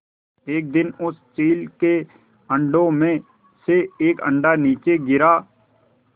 एक दिन उस चील के अंडों में से एक अंडा नीचे गिरा